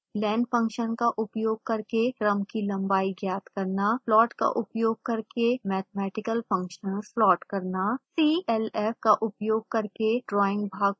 len function का उपयोग करके क्रम की लंबाई ज्ञात करना